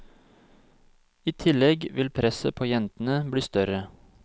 I tillegg vil presset på jentene bli større.